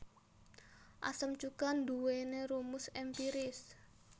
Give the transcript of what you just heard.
Asam cuka nduwèni rumus èmpiris